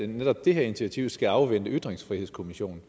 netop det her initiativ skal afvente ytringsfrihedskommissionens